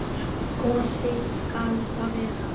Gosi skal það vera.